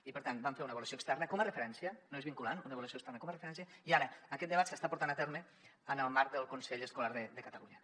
i per tant vam fer una avaluació externa com a referència no és vinculant una avaluació externa com a referència i ara aquest debat s’està portant a terme en el marc del consell escolar de catalunya